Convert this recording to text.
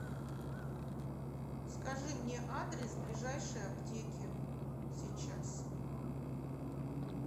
скажи мне адрес ближайшей аптеки сейчас